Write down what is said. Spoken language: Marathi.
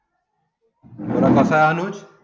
कसा अनुषं